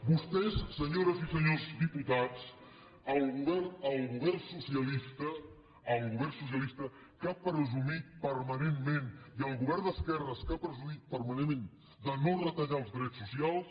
vostès senyores i senyors diputats el govern socialista el govern socialista que ha presumit permanentment i el govern d’esquerres que ha presumit permanentment de no retallar els drets socials